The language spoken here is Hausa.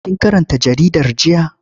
Kin karanta jaridar jiya?